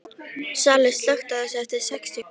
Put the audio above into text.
Salli, slökktu á þessu eftir sextíu og fjórar mínútur.